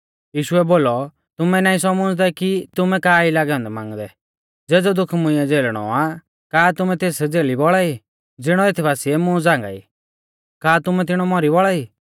यीशुऐ बोलौ तुमै नाईं सौमुझ़दै कि तुमै का ई लागै औन्दै मांगदै ज़ेज़ौ दुख मुंइऐ झ़ेलणौ आ का तुमै तेस झ़ेली बौल़ा ई ज़िणौ एथ बासिऐ मुं झ़ांगाई का तुमै तिणौ मौरी बौल़ा ई